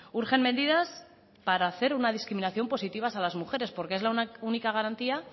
urgen medidas para hacer una discriminación positiva a las mujeres porque es la única garantía